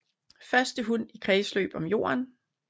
Første hund i kredsløb om jorden